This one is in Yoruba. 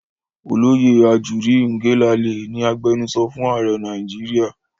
Olóyè Ajuri Ngelale ni agbenusọ fún ààrẹ Nàìjíríà.